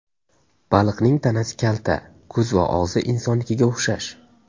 Baliqning tanasi kalta, ko‘z va og‘zi insonnikiga o‘xshash.